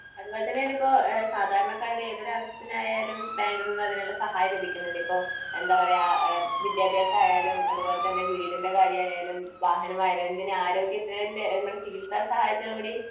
അതുപോലെതന്നെയാണ് ഇപ്പൊ സാധാരണക്കാരുടെ ഏതൊരു ആവശ്യത്തിനായാലും ബാങ്കിൽ നിന്ന് അതിനുള്ള സഹായം ലഭിക്കുന്നുണ്ട്. ഇപ്പൊ എന്താ പറയാ ഇഹ് വിദ്യാഭ്യാസം ആയാലും അതുപോലെത്തന്നെ വീടിൻ്റെ കാര്യം ആയാലും വാഹനമായാലും എന്തിന് ആരോഗ്യത്തിൻ്റെ നമ്മുടെ ചികിത്സാസഹായത്തിന് കൂടി